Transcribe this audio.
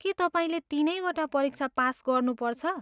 के तपाईँले तिनैवटा परीक्षा पास गर्नुपर्छ?